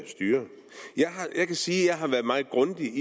styre jeg kan sige at jeg har været meget grundig